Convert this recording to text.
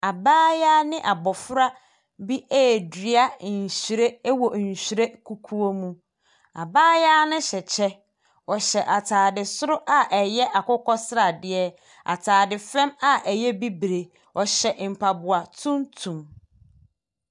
Abayewa ne abɔfra bi redua nhwiren wɔ nhwiren kukuo mu. Abayewa no hyɛ kyɛ. Ɔhyɛ atade soro a ɛyɛ akokɔ sradeɛ. Atade fan a ɛyɛ bibire. Ɔhyɛ mpaboa tuntum.